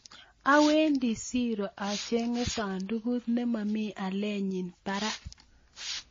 Awendi siiro achenge sandukut nemami alienyi barak